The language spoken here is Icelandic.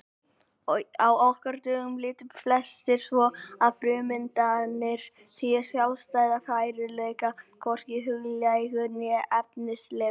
Á okkar dögum líta flestir svo að frummyndirnar séu sjálfstæður veruleiki, hvorki huglægur né efnislegur.